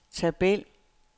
tabel